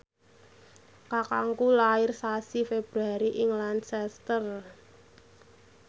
kakangku lair sasi Februari ing Lancaster